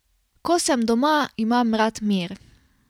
Ko sem doma, imam rad mir.